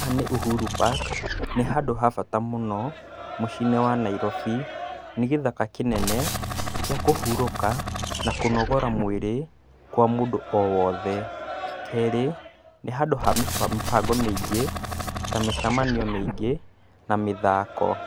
Haha nĩ Uhuru Park, ni handũ ha bata mũno mũciĩ-inĩ wa Nairobi, nĩ gĩthaka kĩnene kĩa kũhurũka na kũnogora mwĩrĩ kwa mũndũ o wothe. Kerĩ ni handũ ha mĩbango mĩingĩ ta mĩcemanio mĩingĩ na mĩthako.